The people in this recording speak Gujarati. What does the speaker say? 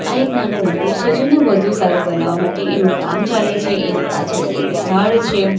ત્યાં એક નાનું મંદિર છે જેને વધુ સારું બનાવવા માટે એનું કામ ચાલે છે એની પાછળ એક ઝાડ છે.